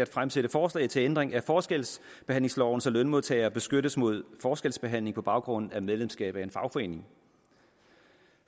at fremsætte forslag til ændring af forskelsbehandlingsloven så lønmodtagere beskyttes mod forskelsbehandling på baggrund af medlemskab af en fagforening